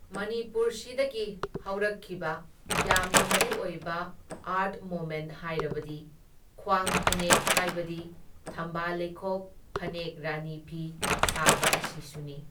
ꯃꯅꯤꯄꯨꯔꯁꯤꯗꯒꯤ ꯍꯧꯔꯛꯈꯤꯕ ꯌꯥꯝꯅ ꯃꯔꯨ ꯑꯣꯏꯕ ꯑꯥꯔꯠ ꯃꯣꯃꯦꯟ ꯍꯥꯏꯔꯕꯗꯤ ꯈ꯭ꯋꯥꯡ ꯐꯅꯦꯛ ꯍꯥꯏꯕꯗꯤ ꯊꯝꯕꯥꯜ ꯂꯩꯈꯣꯛ ꯐꯅꯦꯛ ꯔꯥꯅꯤ ꯐꯤ ꯁꯥꯕ ꯑꯁꯤꯁꯨꯅꯤ꯫